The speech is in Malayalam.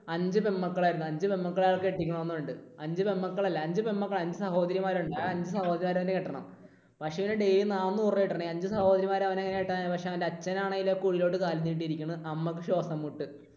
അഞ്ച് പെണ്മക്കൾ ആയിരുന്നു. അഞ്ചു പെൺമക്കളെ അയാൾക്ക് കെട്ടിക്കണം എന്നുണ്ട്. അഞ്ചു പെൺമക്കൾ അല്ല. അഞ്ചു സഹോദരിമാർ. ആ അഞ്ചു സഹോദരിമാരെ അവനു കെട്ടണം. പക്ഷേ അവന് daily നാനൂറു രൂപയാ കിട്ടുന്നെ. ഈ അഞ്ചു സഹോദരിമാരെ അവൻ എങ്ങനെ കെട്ടാനാ. പക്ഷേ അവൻറെ അച്ഛനാണേൽ കുഴിയിലോട്ട് കാലും നീട്ടിയിരിക്കുന്നു. അമ്മയ്ക്ക് ശ്വാസംമുട്ട്.